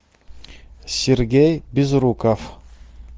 сергей безруков